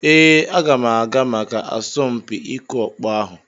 Ee, aga m aga maka asọmpi ịkụ ọkpọ ahụ.